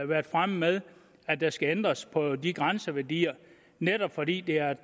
været fremme med at der skal ændres på de grænseværdier netop fordi det er et